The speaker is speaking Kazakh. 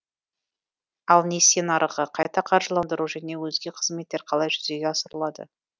ал несие нарығы қайта қаржыландыру және өзге қызметтер қалай жүзеге асырылады